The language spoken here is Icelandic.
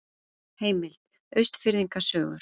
Heimild: Austfirðinga sögur.